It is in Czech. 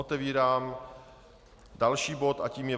Otevírám další bod a tím je